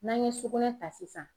N'an ye sugunɛ ta sisan